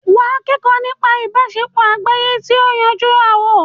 wà á kẹ́kọ̀ọ́ nípa ìbáṣepọ̀ àgbáyé kí o lè yanjú ááwọ̀.